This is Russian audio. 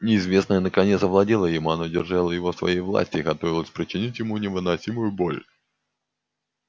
неизвестное наконец овладело им оно держало его в своей власти и готовилось причинить ему невыносимую боль